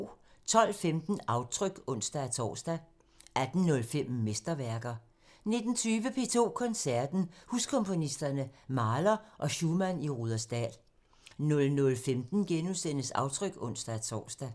12:15: Aftryk (ons-tor) 18:05: Mesterværker 19:20: P2 Koncerten – Huskomponisterne, Mahler og Schumann i Rudersdal 00:15: Aftryk *(ons-tor)